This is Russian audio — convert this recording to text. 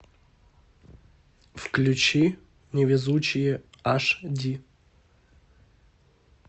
включи невезучие аш ди